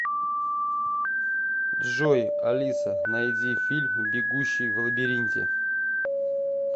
джой алиса найди фильм бегущий в лабиринте